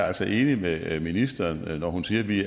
altså enig med ministeren når hun siger at vi